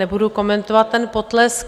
Nebudu komentovat ten potlesk.